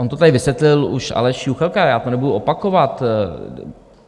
On to tady vysvětlil už Aleš Juchelka, já to nebudu opakovat.